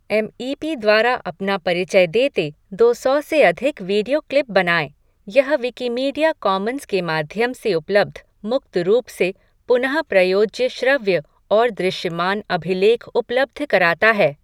M E P द्वारा अपना परिचय देते दो सौ से अधिक वीडियो क्लिप बनाएं, यह विकिमीडिया कॉमन्स के माध्यम से उपलब्ध मुक्त रूप से पुन प्रयोज्य श्रव्य और दृश्यमान अभिलेख उपलब्ध कराता है।